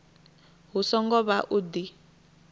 hu songo vha u di